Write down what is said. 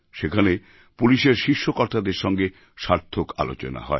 সেখানে পুলিশের শীর্ষ কর্তাদের সঙ্গে সার্থক আলোচনা হয়